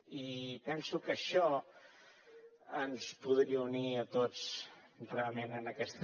i penso que això ens podria unir a tots realment en aquesta